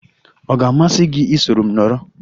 Ọ ga-amasị gị iso m nọrọ?